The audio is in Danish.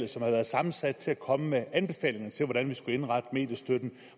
som har været sammensat til at komme med anbefalinger til hvordan vi skulle indrette mediestøtten